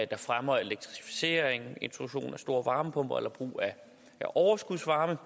der fremmer elektrificeringen introduktionen af store varmepumper eller brugen af overskudsvarme